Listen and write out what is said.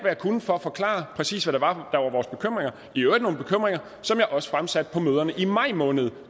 jeg kunne for at forklare præcis hvad det var der var vores bekymringer i øvrigt nogle som jeg også fremsatte på møderne i maj måned